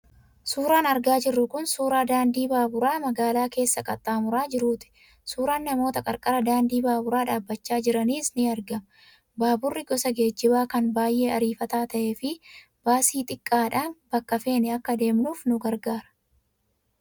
Suuraan argaa jirru kun suuraa daandii baaburaa magaalaa keessa qaxxaamuraa jiruuti. Suuraan namoota qarqara daandii baaburaa dhaabachaa jiraniis ni argama. Baaburri gosa geejjibaa kan baay'ee ariifataa ta'ee fi baasii xiqqaadhaan bakka feene akka deemnuuf nu gargaara.